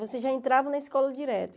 Você já entrava na escola direto.